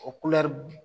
O kulɛri